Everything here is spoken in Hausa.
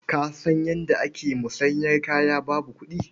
Ka san yadda ake musanyar kaya babu kuɗi?